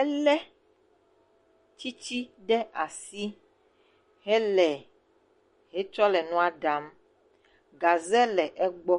Elé tsitsi ɖe asi hele etsɔ le nua ɖam. Gaze le egbɔ.